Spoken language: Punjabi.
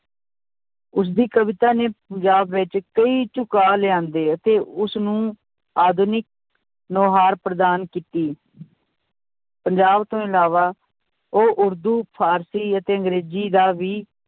ਉਸਦੀ ਕਵਿਤਾ ਨੇ ਪੰਜਾਬ ਵਿੱਚ ਕਈ ਝੁਕਾਅ ਲਿਆਉਂਦੇ ਅਤੇ ਉਸਨੂੰ ਆਧੁਨਿਕ ਨੋਹਾਰ ਪ੍ਰਦਾਨ ਕੀਤੀ ਪੰਜਾਬ ਤੋਂ ਇਲਾਵਾ ਉਹ ਉਰਦੂ ਫ਼ਾਰਸੀ ਅਤੇ ਅੰਗਰੇਜ਼ੀ ਦਾ ਵੀ